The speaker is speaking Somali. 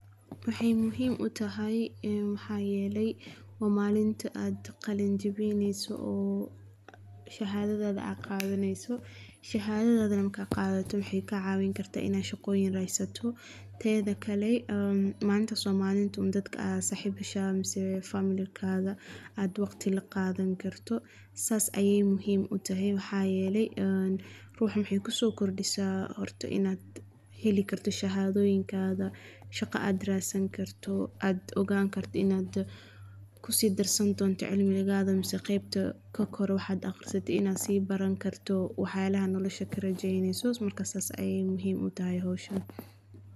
Waxey muhiim utahy maxaaele waa malinta aad qalin jabineyso oo shahadhadha aad qadhaneyso. shahadhadha neh markaad qadhato waxey kacawin karta in ad shaqooyinka ad radsato. Teedha kale malinta somalidha dadka aasd sahib heshaan ama familkaga ad waqti laqaadhan karto saas aey muhiim utahy waxaa yele ruux waxey kusokordisa horta in ad heli karto shahadhooyinkaga shaqa aad raadsan karto aad ogaan karto in ad kusidarsan karto cilmigaaga mise qeybta kakore waxaad aqrisate in ad si baran karto wax yaalaha nolosha ad karajeyneyso marka saas ayeey muhiim utahy howshani.